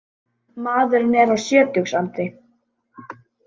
Maðurinn er á sjötugsaldri